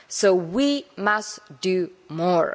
So we must do more.